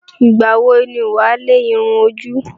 Ìgbà wọ ni wà á lẹ irun ojú?